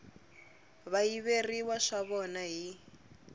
va yiveriwa swa vona hi